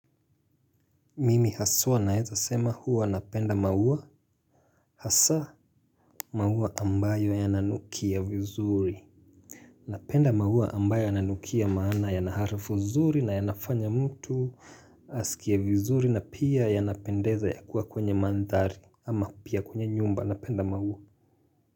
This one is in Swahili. Mimi haswa naeza sema huwa napenda maua. Hasa maua ambayo yananukia vizuri napenda maua ambayo yananukia maana yana harufu zuri na yanafanya mtu askie vizuri na pia yanapendeza ya kuwa kwenye mandhari ama pia kwenye nyumba napenda maua.